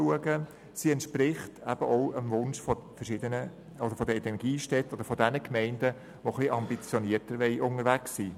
Sie entspricht auch dem Wunsch der Energiestädte oder derjenigen Gemeinden, die etwas ambitionierter unterwegs sein wollen.